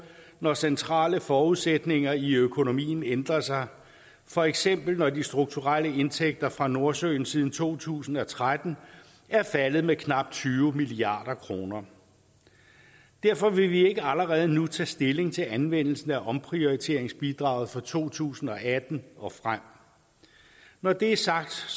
når centrale forudsætninger i økonomien ændrer sig for eksempel når de strukturelle indtægter fra nordsøen siden to tusind og tretten er faldet med knap tyve milliard kroner derfor vil vi ikke allerede nu tage stilling til anvendelsen af omprioriteringsbidraget for to tusind og atten og frem når det er sagt